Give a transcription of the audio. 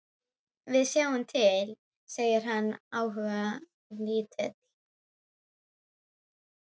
Við sjáum til, segir hann áhugalítill.